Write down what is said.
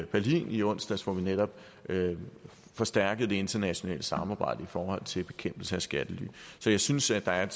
berlin i onsdags hvor vi netop forstærkede det internationale samarbejde i forhold til bekæmpelse af skattely så jeg synes at der er